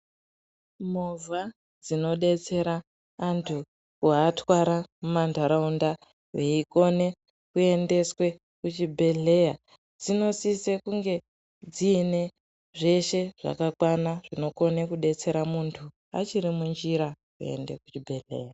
Movha dzino detsera antu ku atwara mu mandaraunda veikone kuendeswe ku chibhedhleya dzinosise kunge dziine zveshe zvakakwana zvino kone ku detsera muntu achiri mu njira kuende ku chibhedhleya.